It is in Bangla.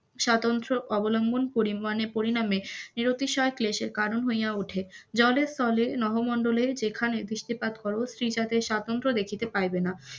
সাধারণত পরিমানে পরিণামে ক্লেশের কারণ হইয়া উঠে, জলে স্থলে, নভোমন্ডলে যেখানে দৃষ্টিপাত করো স্ত্রী জাতির স্বাধীনতা দেখিতে পাইবেনা,